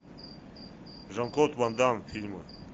жан клод ван дамм фильмы